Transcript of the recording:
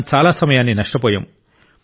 మనం చాలా సమయాన్ని నష్టపోయాం